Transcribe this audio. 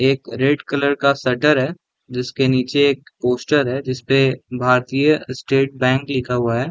एक red colour का shutter है जिसके नीचे एक पोस्टर है जिसपे भारतीय_स्टेट _बैंक लिखा हुआ है ।